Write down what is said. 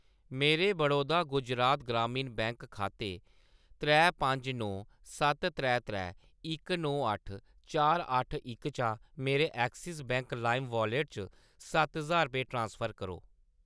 मेरे बड़ौदा गुजरात ग्रामीण बैंक खाते त्रै पंज नौ सत्त त्रै त्रै इक नौ अट्ठ चार अट्ठ इक चा मेरे एक्सिस बैंक लाइम वालेट च सत्त ज्हार रपेऽ ट्रांसफर करो